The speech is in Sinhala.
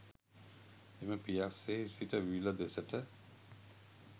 එම පියස්සෙහි සිට විල දෙසට